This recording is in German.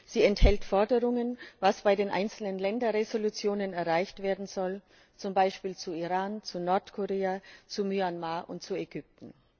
Sie enthält Forderungen, was bei den einzelnen Länderresolutionen erreicht werden soll, zum Beispiel zu Iran, zu Nordkorea, zu Myanmar und zu Ägypten.